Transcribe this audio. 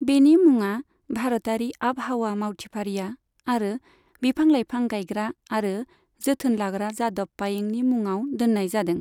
बेनि मुङा भारतारि आबहावा मावथिफारिया आरो बिफां लाइफां गायग्रा आरो जोथोन लाग्रा जादब पायेंनि मुंङाव दोननाय जादों।